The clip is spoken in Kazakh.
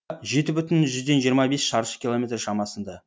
жеті бүтін жүзден жиырма бес шаршы километр шамасында